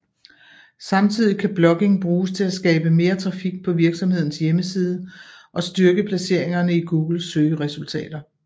Samtidig kan blogging bruges til at skabe mere trafik på virksomhedens hjemmeside og styrke placeringerne i Googles søgeresultater